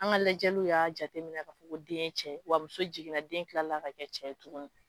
An ka lajɛliw y'a jate minna k'a fɔ ko den ye cɛ ye, wa muso jiginna den tilala ka kɛ cɛ ye tugunni!